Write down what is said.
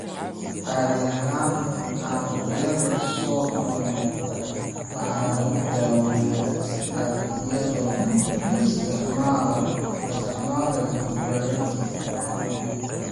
Caadi ahaan caabuqyada soo noqnoqda waxaa lagu daaweeyaa si adag iyadoo la isticmaalayo antibiyootiko habboon.